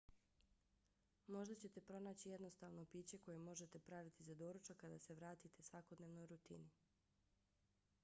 možda ćete pronaći jednostavno piće koje možete praviti za doručak kad se vratite svakodnevnoj rutini